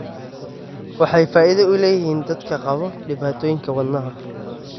Waxay faa'iido u leeyihiin dadka qaba dhibaatooyinka wadnaha.